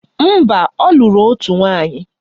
Mba, ọ lụrụ otu nwaanyị